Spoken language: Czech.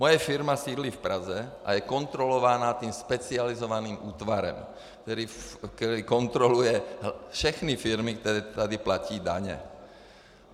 Moje firma sídlí v Praze a je kontrolována tím specializovaným útvarem, který kontroluje všechny firmy, které tady platí daně.